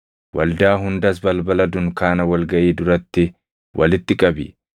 waldaa hundas balbala dunkaana wal gaʼii duratti walitti qabi.”